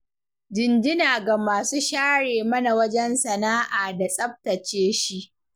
Jinjina ga masu share mana wajen sana'a da tsabtace shi.